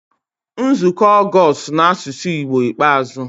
Nzukọ Ọgọst n'asụsụ Igbo ikpeazụ